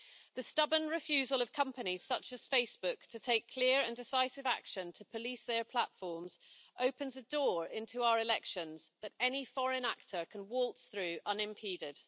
The stubborn refusal of companies such as Facebook to take clear and decisive action to police their platforms opens a door into our elections that any foreign actor can waltz through unimpeded.